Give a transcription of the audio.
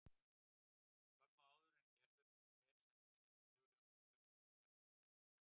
Skömmu áður en Gerður fer sendir séra Sigurjón tillögur sínar um efni.